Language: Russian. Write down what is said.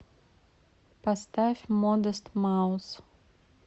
поставь модест маус